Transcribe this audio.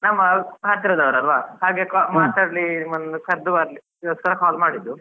ನಮ್ಮ ಹತ್ತಿರದವರಲ್ವಾ ಹಾಗೆ ಮಾತಾಡಿ ಒಂದು ಕರ್ದು ಅದುಗೋಸ್ಕರ call ಮಾಡಿದ್ದು.